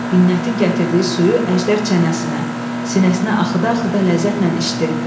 Binnətin gətirdiyi suyu əjdər çənəsinə, sinəsinə axıda-axıda ləzzətlə içdi.